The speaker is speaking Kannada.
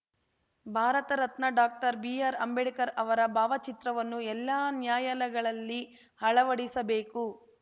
ಭಾರತರತ್ನ ಡಾಕ್ಟರ್ ಬಿಆರ್ ಅಂಬೇಡ್ಕರ್ ಅವರ ಭಾವ ಚಿತ್ರವನ್ನು ಎಲ್ಲಾ ನ್ಯಾಯಾಲಯಗಳಲ್ಲಿ ಅಳವಡಿಸಬೇಕು